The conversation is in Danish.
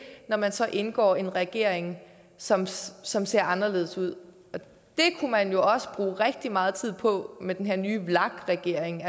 når man så indgår i en regering som ser som ser anderledes ud det kunne man også bruge rigtig meget tid på med den her nye vlak regering